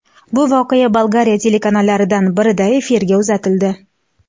Bu voqea Bolgariya telekanallaridan birida efirga uzatildi.